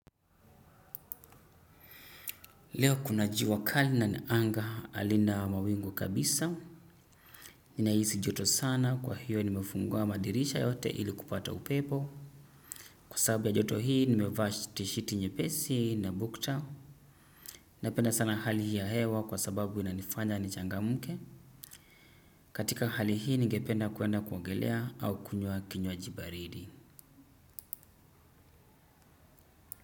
Leo kuna jua kali na ni anga halina mawingu kabisa. Nina hisi joto sana kwa hiyo nimefungua madirisha yote ili kupata upepo. Kwa sababu ya joto hii nimevaa tishiti nyepesi na bukta. Napenda sana hali hii ya hewa kwa sababu inanifanya nichangamke. Katika hali hii ningependa kuenda kuongelea au kunywa kinywaji baridi.